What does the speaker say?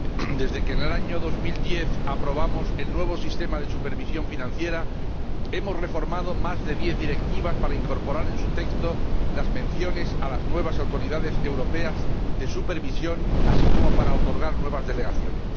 Señor Presidente, desde que en el año 2010 aprobamos el nuevo Sistema Europeo de Supervisión Financiera, hemos reformado más de diez directivas para incorporar en su texto las menciones a las nuevas Autoridades Europeas de Supervisión, así como para otorgar nuevas delegaciones.